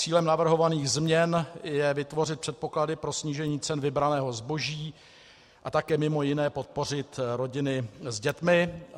Cílem navrhovaných změn je vytvořit předpoklady pro snížení cen vybraného zboží a také mimo jiné podpořit rodiny s dětmi.